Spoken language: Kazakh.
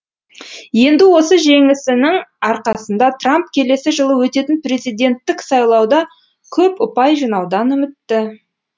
енді осы жеңісінің арқасында трамп келесі жылы өтетін президенттік сайлауда көп ұпай жинаудан үмітті